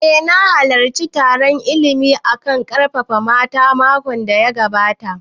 Eh na halarci taron illimin a kan ƙarfafa mata makon da ya gabata